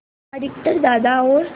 अधिकतर दादा और